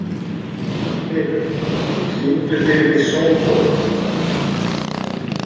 Styrr, syngdu fyrir mig „Sódóma“.